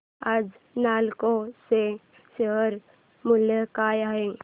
आज नालको चे शेअर मूल्य काय आहे